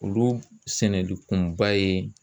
Olu sɛnɛli kunba ye